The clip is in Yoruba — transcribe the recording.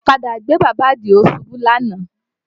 Ọ̀kadà gbé bàbá Àdìó ṣubú lánàá